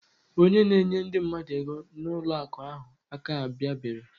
Onye na enye ndi mmadu ego na ụlọ akụ ahu aka abia bere.